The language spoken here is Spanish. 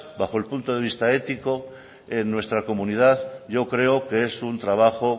bajo el punto de vista ético en nuestra comunidad yo creo que es un trabajo